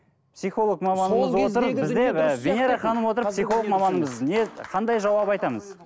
психолог маманымыз отыр бізде ы венера ханым отыр психолог маманымыз не қандай жауап айтамыз